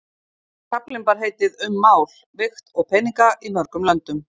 Kaflinn bar heitið Um mál, vigt og peninga í mörgum löndum.